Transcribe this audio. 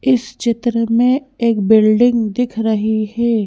इस चित्र में एक बिल्डिंग दिख रही है।